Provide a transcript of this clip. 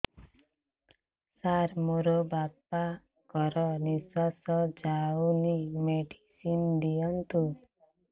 ସାର ମୋର ବାପା ଙ୍କର ନିଃଶ୍ବାସ ଯାଉନି ମେଡିସିନ ଦିଅନ୍ତୁ